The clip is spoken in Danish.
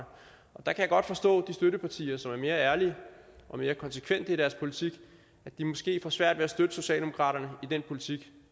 jeg kan godt forstå at de støttepartier som er mere ærlige og mere konsekvente i deres politik måske får svært ved at støtte socialdemokratiet i den politik